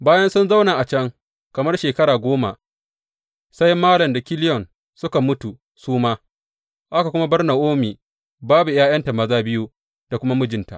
Bayan sun zauna a can kamar shekara goma, sai Malon da Kiliyon suka mutu su ma, aka kuma bar Na’omi babu ’ya’yanta maza biyu da kuma mijinta.